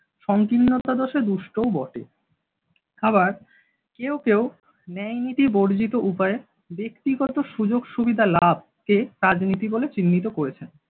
সংকীর্ণতাদোষে দুষ্টও বটে। আবার কেউ কেউ ন্যায়নীতিবর্জিত উপায়ে ব্যক্তিগত সুযোগ-সুবিধা লাভকে রাজনীতি বলে চিহ্নিত করেন।